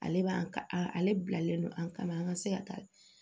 Ale b'a a ale bilalen don an kama an ka se ka taa